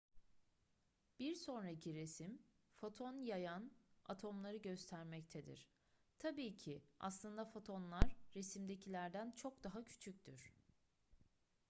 bir sonraki resim foton yayan atomları göstermektedir tabii ki aslında fotonlar resimdekilerden çok daha küçüktür